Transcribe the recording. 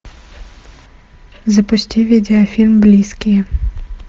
запусти видеофильм близкие